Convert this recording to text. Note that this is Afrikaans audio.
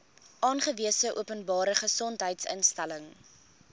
aangewese openbare gesondheidsinstelling